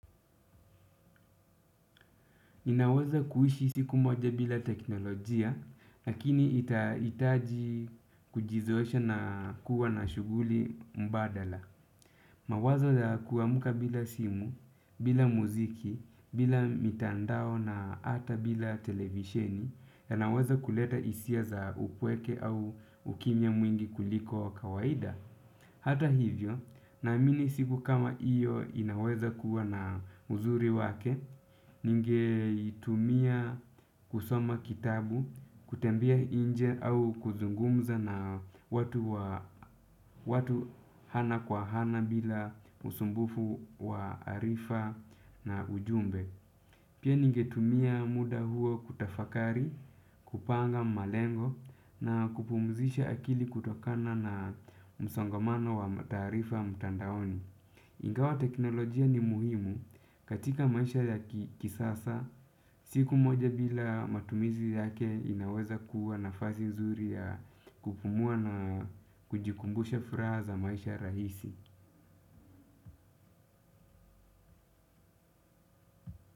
Ninaweza kuishi siku moja bila teknolojia, lakini itahitaji kujizoesha na kuwa na shughuli mbadala. Mawazo za kuamka bila simu, bila muziki, bila mitandao na hata bila televisheni, yanaweza kuleta hisia za upweke au ukimya mwingi kuliko wa kawaida. Hata hivyo, naamini siku kama hiyo inaweza kuwa na uzuri wake, ningeitumia kusoma kitabu, kutembea nje au kuzungumza na watu wa ana kwa ana bila usumbufu wa arifa na ujumbe. Pia ningetumia muda huo kutafakari, kupanga malengo na kupumzisha akili kutokana na msongamano wa taarifa mtandaoni. Ingawa teknolojia ni muhimu katika maisha ya kisasa, siku moja bila matumizi yake inaweza kuwa nafasi nzuri ya kupumua na kujikumbusha furaha za maisha rahisi.